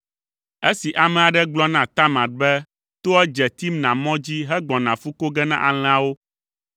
Esi ame aɖe gblɔ na Tamar be toa dze Timna mɔ dzi hegbɔna fu ko ge na alẽawo,